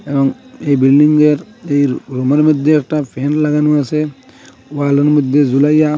এবং এই বিল্ডিংয়ের রুমের মধ্যে একটা ফ্যান লাগানো আসে ওয়ালের মধ্যে ঝুলাইয়া।